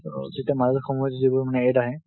তৌ যেতিয়া মাজে সময়ৱে যিবোৰ মানে AD আহে